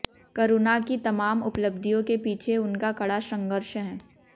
करुणा की तमाम उपलब्धियों के पीछे उनका कड़ा संघर्ष है